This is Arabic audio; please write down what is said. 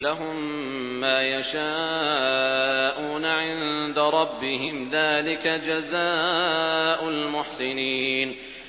لَهُم مَّا يَشَاءُونَ عِندَ رَبِّهِمْ ۚ ذَٰلِكَ جَزَاءُ الْمُحْسِنِينَ